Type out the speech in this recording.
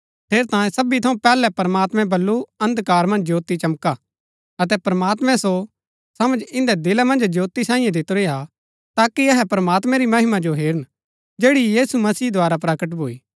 ठेरैतांये सबी थऊँ पैहलै प्रमात्मैं बल्लू अन्धकार मन्ज ज्योती चमका अतै प्रमात्मैं सो समझ इन्दै दिला मन्ज ज्योती सांईयै दितुरी हा ताकि अहै प्रमात्मैं री महिमा जो हेरन जैड़ी यीशु मसीह द्धारा प्रकट भूई